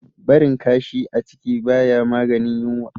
Barin kashi a ciki baya maganin yunwa